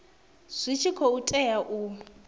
zwi tshi khou tea u